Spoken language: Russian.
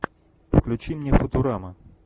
включи мне футурама